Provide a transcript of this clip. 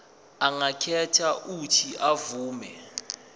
angakhetha uuthi avume